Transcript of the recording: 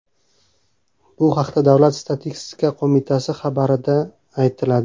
Bu haqda Davlat statistika qo‘mitasi xabarida aytiladi .